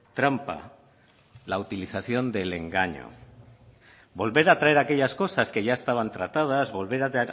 trampa la utilización del engaño volver a traer aquellas cosas que ya estaban tratadas volver a